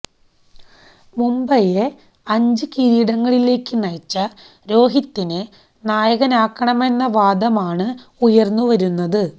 മുംബൈയെ അഞ്ച് കിരീടങ്ങളിലേക്ക് നയിച്ച രോഹിത്തിനെ നായകനാക്കണമമെന്ന് വാദമാണ് ഉയര്ന്നുവരുന്നത്